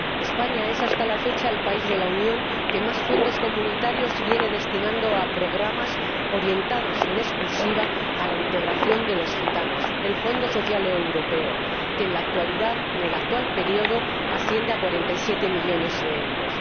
España es hasta la fecha el país de la Unión que más fondos comunitarios viene destinando a programas orientados en exclusiva a la integración de los gitanos del Fondo Social Europeo se destinan en el actual período 47 millones de euros.